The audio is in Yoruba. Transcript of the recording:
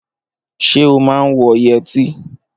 Ṣé o máa ń wọ yẹtí?